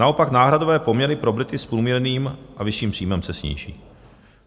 Naopak náhradové poměry pro Brity s průměrným a vyšším příjmem se sníží.